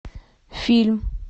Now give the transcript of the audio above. фильм